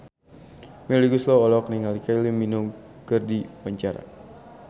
Melly Goeslaw olohok ningali Kylie Minogue keur diwawancara